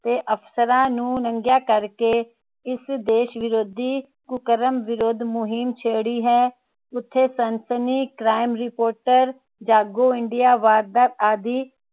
ਤੇ ਅਫਸਰਾਂ ਨੂੰ ਨੰਗੀਆਂ ਕਰ ਕੇ ਇਸ ਦੇਸ਼ ਵਿਰੋਧੀ ਕੁਕਰਮ ਵਿਰੋਧੀ ਮੁਹਿੰਮ ਛੇੜੀ ਹੈ ਉਥੇ ਸਨਸਨੀ, crime reporter ਜਾਗੋ ਇੰਡੀਆ, ਵਾਰਦਾਤ ਆਦਿ